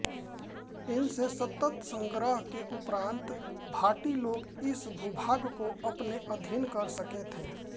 इनसे सतत संघर्ष के उपरांत भाटी लोग इस भूभाग को अपने आधीन कर सके थे